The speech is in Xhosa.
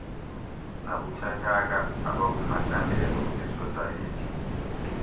nabuthathaka abakumacandelo esosayethi